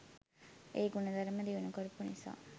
ඒ ගුණ ධර්ම දියුණු කරපු නිසා.